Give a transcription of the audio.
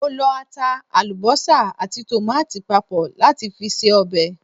Mo lọ ata, àlùbọ́sà àti tòmáàtì papọ̀ láti fi ṣe ọbẹ̀.